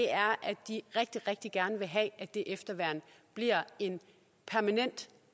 er at de rigtig rigtig gerne vil have at det efterværn bliver en permanent